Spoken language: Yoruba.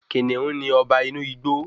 Kìnìún ni Ọba inú igbo